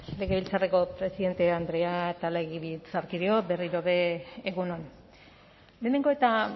legebiltzarreko presidente andrea eta legebiltzarkideok berriro ere egun on lehenengo eta